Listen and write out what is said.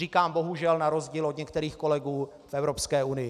Říkám bohužel, na rozdíl od některých kolegů v Evropské unii.